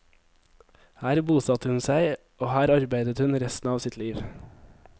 Her bosatte hun seg, og her arbeidet hun resten av sitt liv.